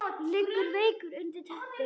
Liggur veikur undir teppi.